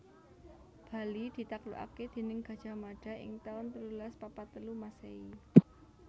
Bali ditaklukaké déning Gajah Mada ing taun telulas papat telu Masèhi